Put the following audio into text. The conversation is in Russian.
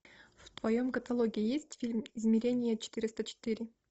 в твоем каталоге есть фильм измерение четыреста четыре